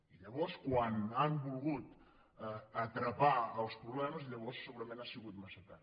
i llavors quan han volgut atrapar els problemes llavors segurament ha sigut massa tard